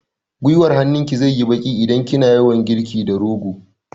Guiwar hannun ki zai yi baƙi idan kina yawan girki da rogo